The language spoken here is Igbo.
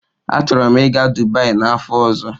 Achọrọ m ịga Dubai n'afọ ọzọ.